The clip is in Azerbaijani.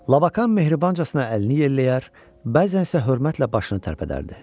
Labakan mehribancasına əlini yelləyər, bəzən isə hörmətlə başını tərpədərdi.